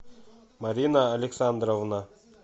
марина александровна